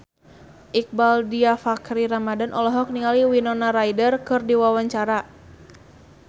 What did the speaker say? Iqbaal Dhiafakhri Ramadhan olohok ningali Winona Ryder keur diwawancara